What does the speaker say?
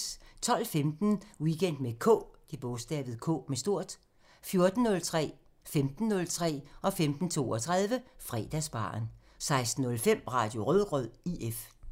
12:15: Weekend med K 14:03: Fredagsbaren 15:03: Fredagsbaren 15:32: Fredagsbaren 16:05: Radio Rødgrød IF